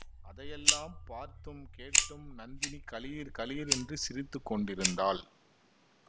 அதையெல்லாம் பார்த்தும் கேட்டும் நந்தினி கலீர் கலீர் என்று சிரித்து கொண்டிருந்தாள்